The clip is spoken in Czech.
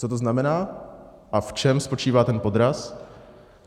Co to znamená a v čem spočívá ten podraz?